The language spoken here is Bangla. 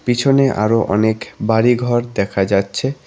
পিছনে আরো অনেক বাড়িঘর দেখা যাচ্ছে।